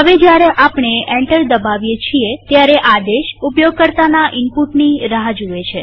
હવે જયારે આપણે એન્ટર દબાવીએ છીએ ત્યારે આદેશ ઉપયોગકર્તાના ઈનપુટની રાહ જુએ છે